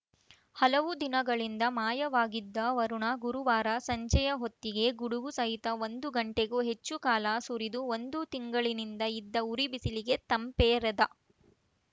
ಹಲವು ದಿನಗಳಿಂದ ಮಾಯವಾಗಿದ್ದ ವರುಣ ಗುರುವಾರ ಸಂಜೆಯ ಹೊತ್ತಿಗೆ ಗುಡುಗು ಸಹಿತ ಒಂದು ಗಂಟೆಗೂ ಹೆಚ್ಚು ಕಾಲ ಸುರಿದು ಒಂದು ತಿಂಗಳಿನಿಂದ ಇದ್ದ ಉರಿಬಿಸಿಲಿಗೆ ತಂಪೆರೆದ